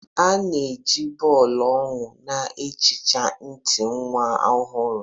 A na-eji bọọlụ owu na-ehicha ntị nwa ohuru.